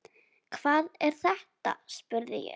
Hvað er þetta spurði ég.